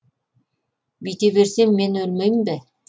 бүйте берсем мен өлмеймін бе